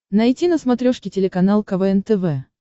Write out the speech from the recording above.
найти на смотрешке телеканал квн тв